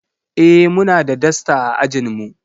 Eh muna da dasta a ajin mu.